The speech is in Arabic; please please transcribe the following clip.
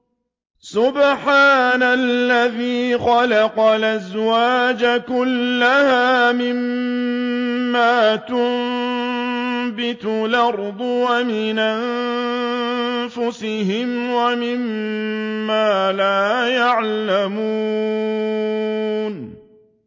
سُبْحَانَ الَّذِي خَلَقَ الْأَزْوَاجَ كُلَّهَا مِمَّا تُنبِتُ الْأَرْضُ وَمِنْ أَنفُسِهِمْ وَمِمَّا لَا يَعْلَمُونَ